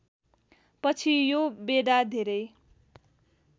पछि यो बेडा धेरै